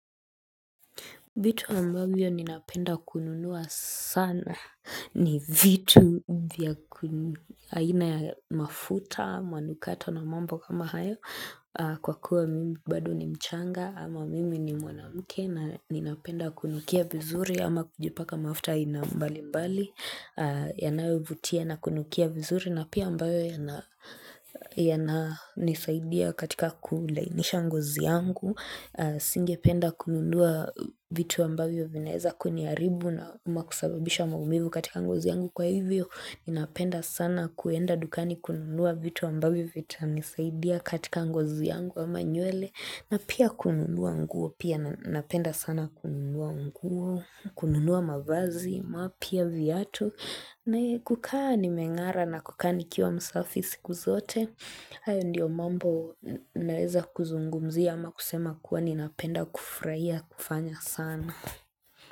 Vitu ambavyo ninapenda kununua sana ni vitu haina ya mafuta, manukato na mambo kama hayo kwa kuwa mimi bado ni mchanga ama mimi ni mwanamke na ninapenda kunukia vizuri ama kujipaka mafuta ina mbali mbali yanayo vutia na kunukia vizuri na pia ambayo yana ya na nisaidia katika kulainisha ngozi yangu. Singe penda kununua vitu ambavyo vinaeza kuniaribu na umakusababisha maumivu katika ngozi yangu kwa hivyo Ninapenda sana kuenda dukani kununua vitu ambavyo vita nisaidia katika ngozi yangu amanywele na pia kununua nguo, pia napenda sana kununua nguo, kununua mavazi, mapya viatu ne kukaa nimengara na kukaa nikiwa msafi siku zote hayo ndio mambo naweza kuzungumzia ama kusema kuwa ninapenda kufurahia kufanya sana.